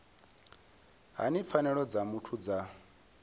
hani pfanelo dza muthu dza